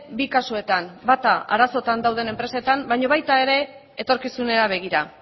bi kasuetan bata arazoetan dauden enpresetan baino baita ere etorkizunera begira